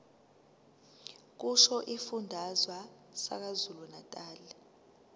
kusho isifundazwe sakwazulunatali